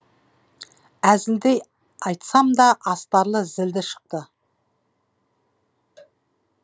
әзілдей айтсам да астары зілді шықты